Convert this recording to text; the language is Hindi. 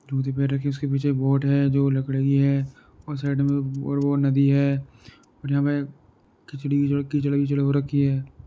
पैर रखी हैं उसके पीछे एक बोट है जो लकड़ी की है और साइड में वह नदी है ओर में खिचड़ी विचड़ी कीचड़ विचड़ हो रखी है।